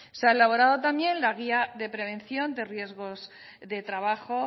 se he elaborado también la guía de prevención de riesgos de trabajo